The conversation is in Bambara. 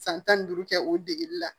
San tan ni duuru kɛ o degeli la